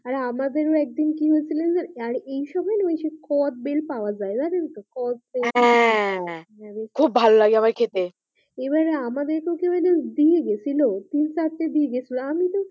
আরে আমাদেরও একদিন কি হয়েছিল জানেন আর এই সময় না কদবেল পাওয়া যাই জানেন তো? কদবেল হ্যাঁ খুব ভালোলাগে আমাকে খেতে এবারে আমাদেরকে কেউ একজন দিয়েগিয়ে ছিল তিন চারটে দিয়ে গিয়েছিল আমি তো,